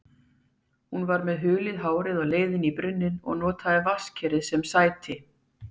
Hún var með hulið hárið á leið í brunninn og notaði vatnskerið sem sæti.